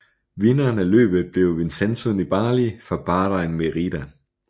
Vinderen af løbet blev Vincenzo Nibali fra Bahrain Merida